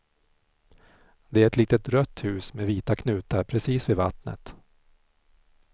Det är ett litet rött hus med vita knutar precis vid vattnet.